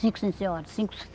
Cinco, sim, senhora. Cinco